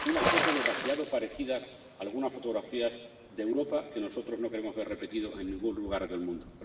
una foto demasiado parecida a algunas fotografías de Europa que nosotros no queremos ver repetidas en ningún lugar del mundo.